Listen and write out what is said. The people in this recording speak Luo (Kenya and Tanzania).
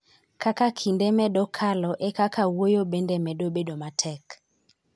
Kaka kinde medo kalo, e kaka wuoyo bende medo bedo matek.